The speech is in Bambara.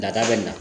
Dada bɛ na